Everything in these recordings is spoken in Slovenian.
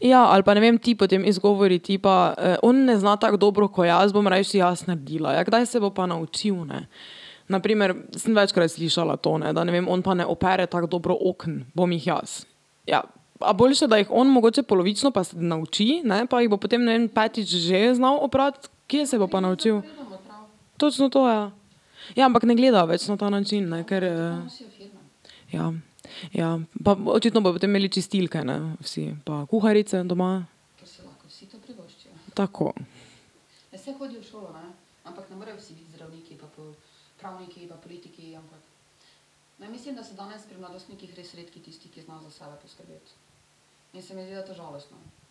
Ja, ali pa, ne vem, ti potem izgovori tipa: on ne zna tako dobro ko jaz, bom rajši jaz naredila." Ja, kdaj se bo pa naučil, ne? Na primer, sem večkrat slišala to, ne, ne vem, da on pa ne opere tako dobro oken, bom jih jaz. Ja. A boljše, da jih on mogoče polovično, pa se nauči, ne, pa jih bo potem, ne vem, petič že znal oprati, kje se bo pa naučil? Točno to, ja. Ja, ampak ne gledajo več na ta način, ne, ker ... Ja. Ja, pa očitno bojo potem imeli čistilke, ne, vsi, pa kuharice doma. Tako. Ja,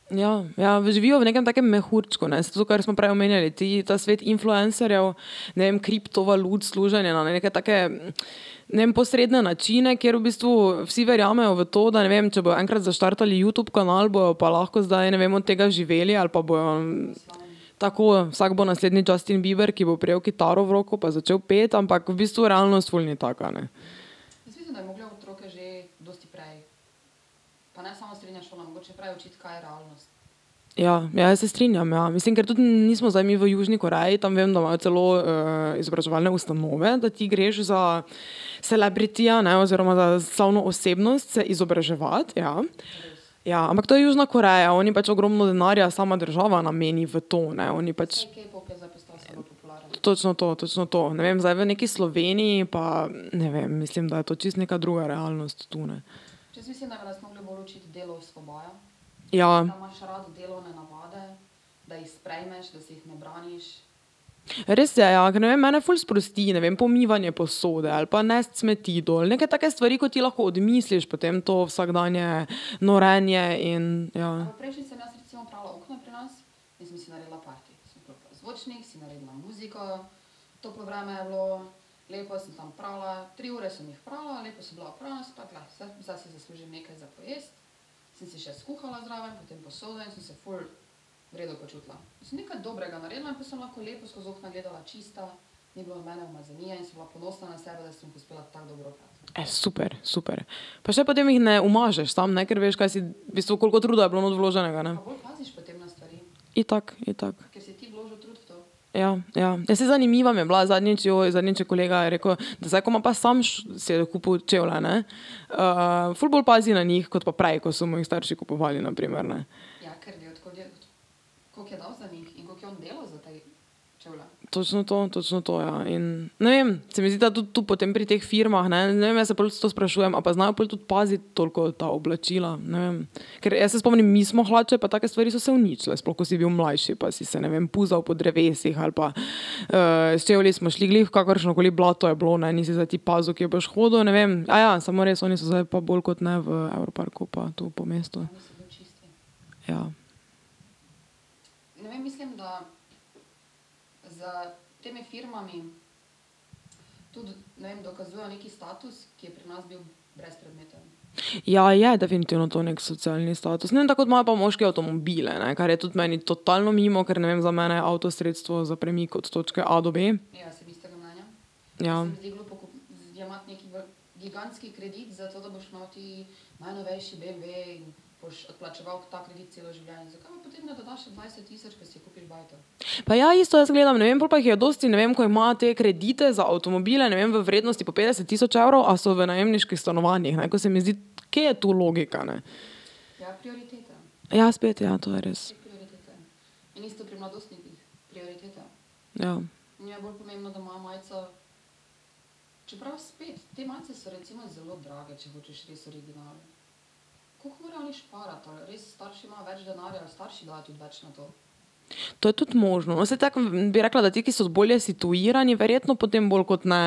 ja, živijo v nekem takem mehurčku, ne, saj to, kar smo prej omenjali, ti, ta svet influencerjev, ne vem, kriptovalut, služenja na neke take, ne vem, posredne načine, kjer v bistvu vsi verjamejo v to, da, ne vem, če bojo enkrat zaštartali Youtube kanal, bojo pa lahko zdaj, ne vem, od tega živeli ali pa bojo ... Tako, vsak bo naslednji Justin Bieber, ki bo prijel kitaro v roko pa začel peti, ampak v bistvu realnost ful ni taka, ne. Ja, ja, jaz se strinjam, ja. Mislim, ker to mi nismo zdaj mi v Južni Koreji, tam vem, da imajo celo izobraževalne ustanove, da ti greš za celebrityja, ne, oziroma za slavno osebnost se izobraževat, ja. Ja, ampak to je Južna Koreja, oni pač ogromno denarja, sama država nameni v to, ne, oni pač ... Točno to, točno to, ne vem, zdaj v neki Sloveniji pa, ne vem, mislim, da je to čisto neka druga realnost tu, ne. Ja. Res je, ja, ker ne vem, mene ful sprosti, ne vem, pomivanje posode ali pa nesti smeti dol, neke take stvari, ko ti lahko odmisliš potem to vsakdanje norenje in ja ... super, super. Pa še potem jih ne umažeš tam, ne, ker veš, kaj si, v bistvu, koliko truda je bilo not vloženega, ne. Itak, itak. Ja, ja, ne, saj zanimiva mi je bila, zadnjič, zadnjič je kolega rekel, da zdaj, ko ima pa samo si je kupil čevlje, ne, ful bolj pazi na njih kot pa prej, ko so mu jih starši kupovali, na primer, ne. Točno to, točno to, ja, in, ne vem, se mi zdi, da tudi tu potem pri teh firmah, ne, ne vem, jaz se prvič to sprašujem, a pa znajo pol tudi paziti toliko ta oblačila, ne vem. Ker jaz se spomnim, mi smo hlače pa take stvari so se uničile, sploh ko si bil mlajši pa si se, ne vem, puzal po drevesih ali pa, s čevlji smo šli glih v kakršno koli blato je bilo, ne, nisi zdaj ti pazil, kje boš hodil, ne vem, samo res, oni so zdaj pa bolj kot ne v Evroparku pa tu po mestu. Ja. Ja, je, definitivno to neki socialni status, ne vem, tako ko imajo pa moški avtomobile, ne, kar je tudi meni totalno mimo, ker, ne vem, za mene je avto sredstvo za premik od točke a do b. Ja. Pa ja, isto jaz gledam, ne vem, po pa jih dosti, ne vem, ko imajo te kredite za avtomobile, ne vem, v vrednosti po petdeset tisoč evrov, a so v najemniških stanovanjih, ne, ko se mi zdi, kje je tu logika, ne? Ja, spet, ja, to je res. Ja. To je tudi možno, no, saj tako bi rekla, da ti, ki so bolje situirani, verjetno potem bolj kot ne,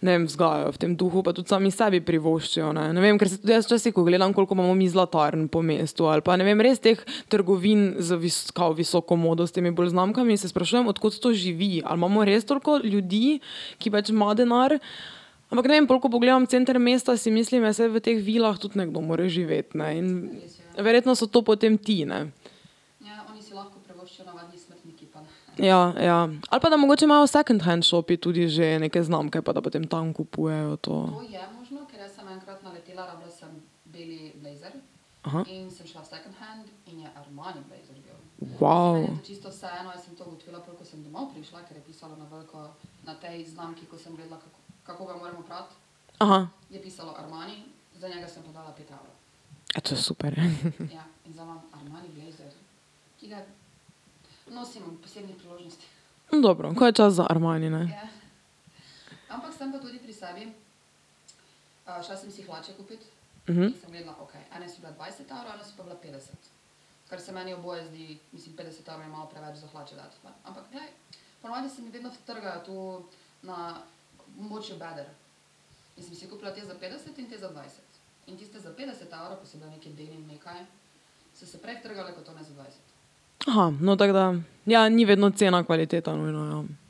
ne vem, vzgajajo v tem duhu, pa tudi sami sebi privoščijo, ne vem, ker si tudi jaz včasih, ko gledam, koliko imamo mi zlatarn po mestu ali pa, ne vem, res teh trgovin z kao visoko modo s temi bolj znamkami, in se sprašujem, od kod to živi, ali imamo res toliko ljudi, ki pač ima denar? Ampak ne vem, pol ko pogledam center mesta, si mislim, ja, saj v teh vilah tudi nekdo mora živeti, ne, in verjetno so to potem ti, ne. Ja, ja, ali pa da mogoče imajo v second hand shopih tudi že neke znamke, pa da potem tam kupujejo to. to je super. Dobro, ko je čas za Armani, ne. no, tako da ... Ja, ni vedno cena kvaliteta nujno, ja.